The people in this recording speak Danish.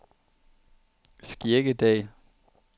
Skjeggedal